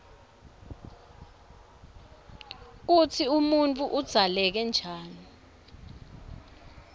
kutsi umuntfu udzaleke njani